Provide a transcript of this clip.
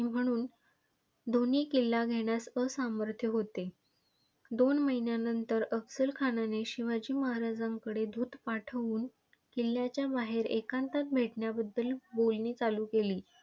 म्हणून दोन्ही किल्ले घेण्यास असमर्थ होते. दोन महिन्यानंतर अफझल खानाने शिवाजी महाराजांकडे दूत पाठवून, किल्ल्याच्या बाहेर एकांतात भेटण्याबद्दल बोलणी चालू केली.